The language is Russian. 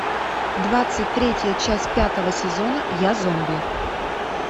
двадцать третья часть пятого сезона я зомби